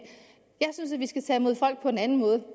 jeg synes at vi skal tage imod folk på en anden måde